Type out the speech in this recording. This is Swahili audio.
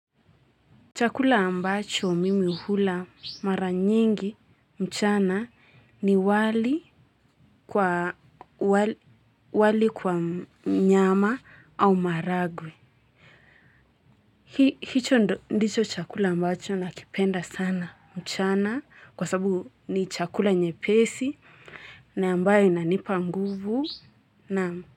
Chakula ambacho mimi hula mara nyingi mchana ni wali. Wali kwa nyama au maharagwe. Hicho ndicho chakula ambacho nakipenda sana mchana kwa sababu ni chakula nyepesi na ambayo inanipa nguvu na.